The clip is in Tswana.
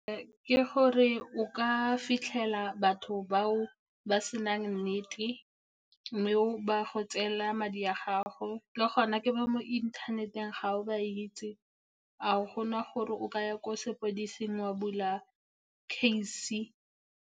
Ke gore o ka fitlhela batho ba o ba senang nnete mme ba go tseela madi a gago, le gona ke ba mo inthaneteng ga o ba itse. A gona gore o ka ya kwa sepodising wa bula ka case.